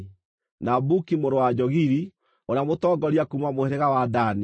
na Buki mũrũ wa Jogili, ũrĩa mũtongoria kuuma mũhĩrĩga wa Dani;